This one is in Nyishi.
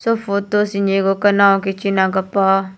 photo seh ni gu kano kichi gu pah.